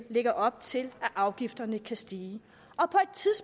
lægger op til at afgifterne kan stige